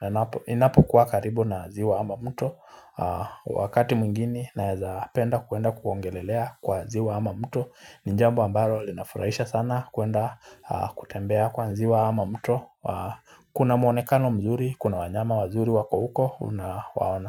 enapo Inapo kuwa karibu na ziwa ama mto. Kwa wakati mgini naweza penda kuenda kuongelelea kwa ziwa ama mto ni jambo ambalo linafurahisha sana kuwenda kutembea kwa ziwa ama mto. Kuna muonekano mzuri, kuna wanyama wazuri wako huko. Unawaona.